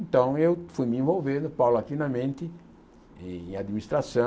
Então eu fui me envolvendo paulatinamente em administração,